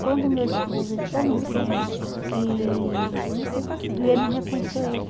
Quando o meu esposo entrou no trem, que viu ele não reconheceu ele.